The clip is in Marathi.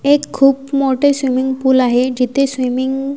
एक खूप मोठे स्विमिंग पूल आहे जिथे स्विमिंग --